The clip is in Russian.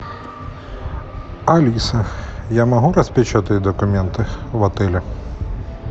алиса я могу распечатать документы в отеле